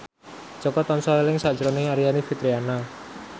Jaka tansah eling sakjroning Aryani Fitriana